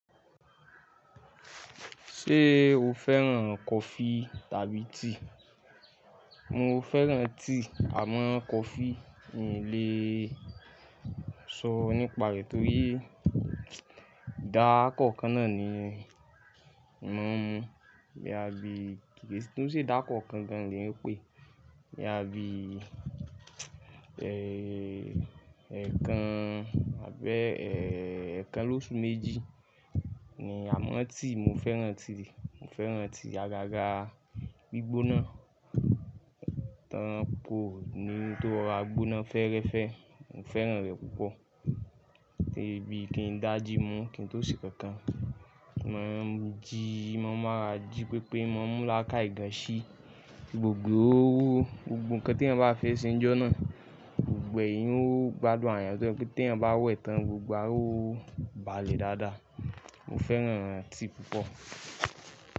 Ṣé o fẹ́ràn kofi tàbí tea? Mo fẹ́ràn tea àmọ́ kofi n lè ṣọ nípa rẹ̀ torí idá ko kan náà ni mo má n mú bí i kíni tó ṣe dá ko kan gan ni ó ń pè, bí i ẹẹ́kan àbẹ́ ẹẹ́kan lóṣù méjì ni. Àmọ́ tea mo fẹ́ràn tea, mo fẹ́ràn tea agaga gbígbóná, tán pò ni tó ra gbóná fẹ́ẹ́rẹ́fẹ́, mo fẹ́ràn rẹ̀ púpọ̀. Torí bí i kí n dáa jí mú kí n tó sè kankan, mo máa ń jí, mo máa ra jí pépé, mo mú lákàì gàn ṣí gbogbo ohun kan tí ẹ bá fẹ́ ṣe níjọ́ náà, gbogbo ẹ̀yin ó gbádùn àrare, pé tí ẹ bá wẹ̀ tán gbogbo a ó balẹ̀ dáadáa. Mo fẹ́ràn tea púpọ̀